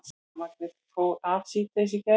Rafmagnið fór af síðdegis í gær